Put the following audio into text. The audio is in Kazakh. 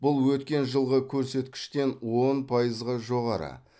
бұл өткен жылғы көрсеткіштен он пайызға жоғары